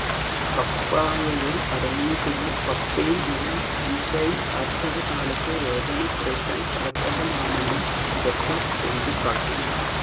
പപ്പായയില് അടങ്ങിയിട്ടുള്ള പപ്പൈന് എന്ന എന്സൈം ആര്ത്തവ കാലത്തെ വേദന കുറയ്ക്കാന് ഫലപ്രദമാണെന്നും വിദഗ്ധര് ചൂണ്ടിക്കാട്ടുന്നു